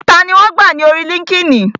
Tani wọn gbà ní orí líńki-inì?